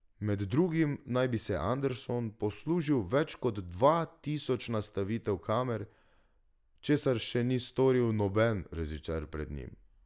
Med drugim naj bi se Anderson poslužil več kot dva tisoč nastavitev kamer, česar še ni storil noben režiser pred njim.